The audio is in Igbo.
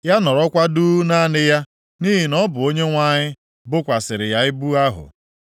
Ya nọrọkwa duu naanị ya, nʼihi na ọ bụ Onyenwe anyị bokwasịrị ya ibu ahụ.